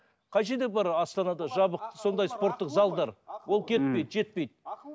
қай жерде бар астанада жабық сондай спорттық залдар ол кетпейді жетпейді